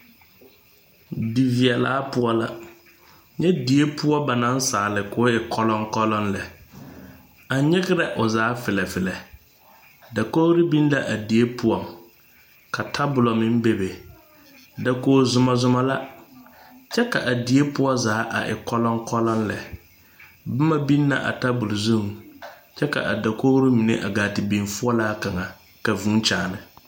Diveɛlaa poɔ la nyɛ die poɔ ba naŋ saali k'o e kɔlɔŋkɔlɔŋ lɛ a nyerɛ o zaa felɛ felɛ dakogri be la a die poɔ ka tabulɛ meŋ bebe dakogi zomazoma la kyɛ ka a die poɔ zaa a e kɔlɔkɔlɔ lɛ boma biŋ la a tabul zuŋ kyɛ ka a dakogri mine gaa te biŋ foɔlaa kaŋa ka vūū kyaani.